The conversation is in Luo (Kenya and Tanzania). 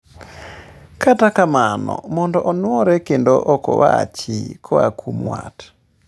Kata kamano mondo onwore kendo okowachi koa kuom wat